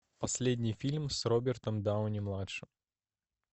последний фильм с робертом дауни младшим